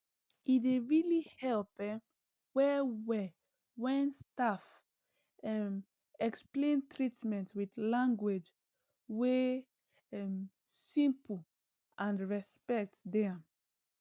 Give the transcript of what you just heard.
e dey really help um well well when staff um explain treatment with language wey um simple and respect dey am